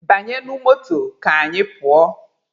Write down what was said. Banyenụ moto ka anyị pụọ!